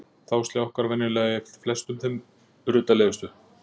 Þá sljákkar venjulega í flestum þeim ruddalegustu